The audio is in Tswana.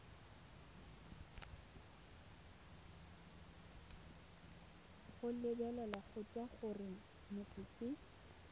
go lebeletswe gore motho ke